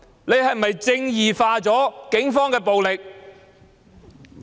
他是否"正義化"警方的暴力？